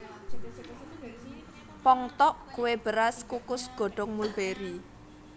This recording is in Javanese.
Ppong tteok kue beras kukus godong mulberi